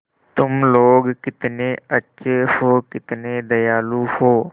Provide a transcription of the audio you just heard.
तुम लोग कितने अच्छे हो कितने दयालु हो